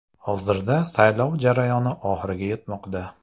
Hozirda saylov jarayoni oxiriga yetmoqda.